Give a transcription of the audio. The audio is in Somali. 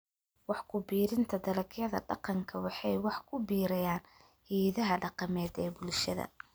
Wax ku biirinta Dalagyada Dhaqanka waxay wax ku biiriyaan hidaha dhaqameed ee bulshada.